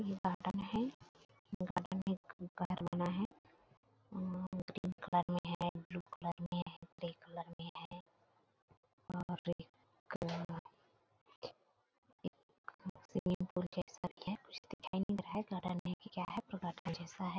ये गार्डन है गार्डन में बना है और पिंक कलर में है ब्लू कलर में है ग्रे कलर में है और कई कलर में एक स्वीमिंग पूल जैसा भी है कुछ दिखाई नहीं दे रहा है गार्डन है की क्या है पर गार्डन जैसा है।